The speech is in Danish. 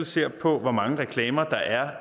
ser på hvor mange reklamer der er